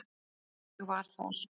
Ég var þar.